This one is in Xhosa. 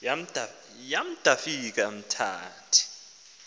yam ndafika ndamthi